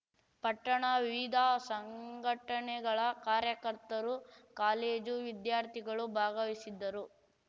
ಪಟ್ಟಣ ವಿವಿದ ಸಂಘಟನೆಗಳ ಕಾರ್ಯಕರ್ತರು ಕಾಲೇಜು ವಿದ್ಯಾರ್ಥಿಗಳು ಭಾಗವಹಿಸಿದ್ದರು